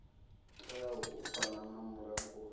teaho u fana na mulanguli